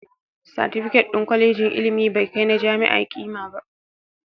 Satifiket ɗin kwalejin ilimi bai kai na jami'a ƙima ba